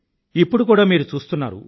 ఇప్పుడు కూడా మీరు చూస్తున్నారు